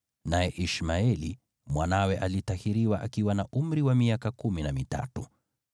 naye Ishmaeli mwanawe alitahiriwa akiwa na umri wa miaka kumi na mitatu.